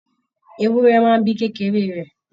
Ewúrẹ́ máa n bí kékeré rẹ.